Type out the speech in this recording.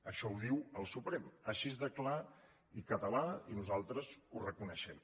això ho diu el suprem així de clar i català i nosaltres ho reconeixem